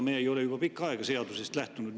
Me ei ole juba pikka aega seadusest lähtunud.